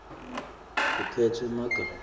kukhetfwe emagama